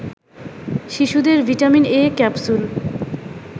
শিশুদের vitamin ‘A’ capsule